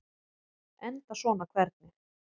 Enda svona hvernig?